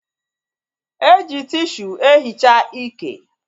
E ji tishu e hichaa ike